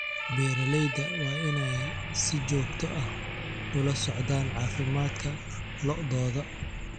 Beeralayda waa inay si joogto ah ula socdaan caafimaadka lo�dooda.